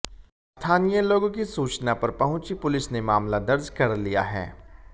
स्थानीय लोगों की सूचना पर पहुंची पुलिस ने मामला दर्ज कर लिया है